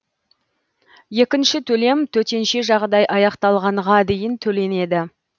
екінші төлем төтенше жағдай аяқталғанға дейін төленеді